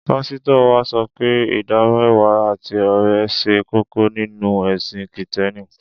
Pásítọ̀ wa sọ pé ìdámẹ́wàá àti ọrẹ ṣe kókó nínú ẹ̀sìn Kìtẹ́ẹ́nì.